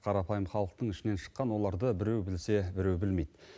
қарапайым халықтың ішінен шыққан оларды біреу білсе біреу білмейді